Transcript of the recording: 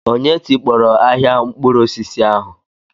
Onye tikpọrọ ahịa mkpụrụ osisi ahu?